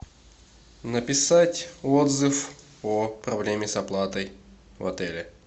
написать отзыв о проблеме с оплатой в отеле